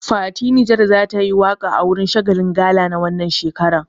Fati Niger za tayi waƙa a wurin shagalin gala na wannan shekaran.